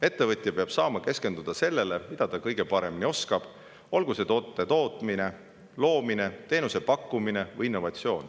Ettevõtja peab saama keskenduda sellele, mida ta kõige paremini oskab, olgu see toote tootmine, loomine, teenuse pakkumine või innovatsioon.